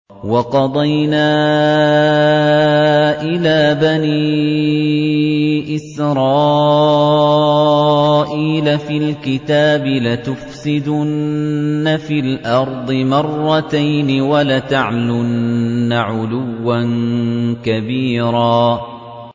وَقَضَيْنَا إِلَىٰ بَنِي إِسْرَائِيلَ فِي الْكِتَابِ لَتُفْسِدُنَّ فِي الْأَرْضِ مَرَّتَيْنِ وَلَتَعْلُنَّ عُلُوًّا كَبِيرًا